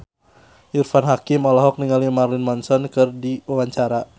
Irfan Hakim olohok ningali Marilyn Manson keur diwawancara